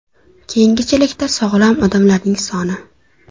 Keyingi chelakda sog‘lom odamlarning soni.